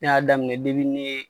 Ne y'a daminɛ